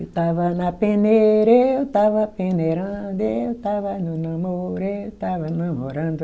Eu estava na peneira, eu estava peneirando, eu estava no namoro, eu estava namorando.